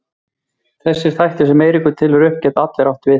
Þessir þættir sem Eiríkur telur upp geta allir átt við Íslendinga.